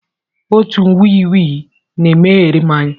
Otu ikwikwii na-emegharị m anya.